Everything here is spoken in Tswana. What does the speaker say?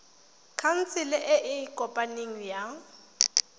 khansele e e kopaneng ya